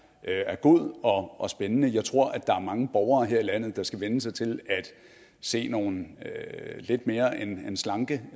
er god og spændende jeg tror der er mange borgere her i landet der skal vænne sig til at se nogle lidt mere end slanke